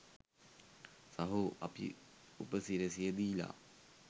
සහෝ අපි උපසිරැසිය දීලා